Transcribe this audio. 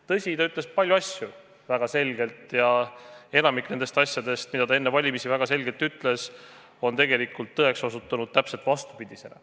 Tõsi, ta ütles paljusid asju väga selgelt ja enamik nendest asjadest, mida ta enne valimisi väga selgelt ütles, on tegelikult tõeks osutunud täpselt vastupidisena.